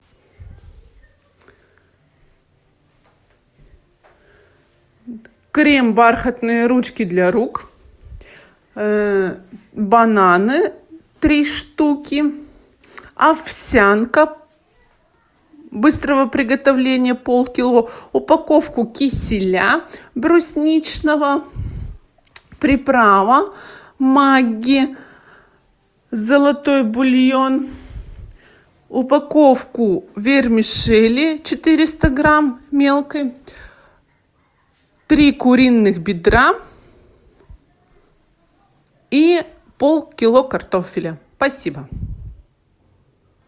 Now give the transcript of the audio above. крем бархатные ручки для рук бананы три штуки овсянка быстрого приготовления полкило упаковку киселя брусничного приправа магги золотой бульон упаковку вермишели четыреста грамм мелкой три куриных бедра и полкило картофеля спасибо